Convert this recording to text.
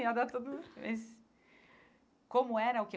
Ia dar tudo... Como era o quê?